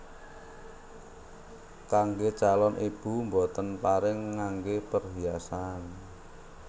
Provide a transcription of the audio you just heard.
Kanggè calon ibu boten pareng nganggè perhiasan